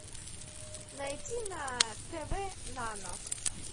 найти на тв нано